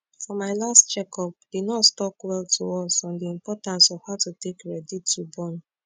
for my last check up the nurse talk well to us on the importance of how to take ready to born